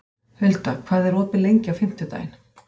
Hulda, hvað er opið lengi á fimmtudaginn?